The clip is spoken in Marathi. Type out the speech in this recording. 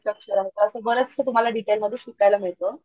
स्ट्रक्चर आहे असं बरसं तुम्हाला डिटेलमध्ये शिकायला मिळत.